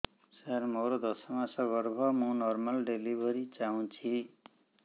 ସାର ମୋର ଦଶ ମାସ ଗର୍ଭ ମୁ ନର୍ମାଲ ଡେଲିଭରୀ ଚାହୁଁଛି